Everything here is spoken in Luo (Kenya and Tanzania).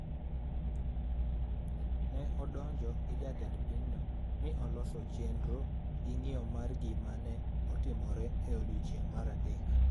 Ne odonjo gi jatend pinyno ni noloso chenro gi ng’iyo mar gima ne otimore e odiechieng’ mar adek